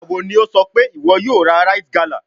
Nigbawo ni o sọ pe iwọ yoo ra rite gala?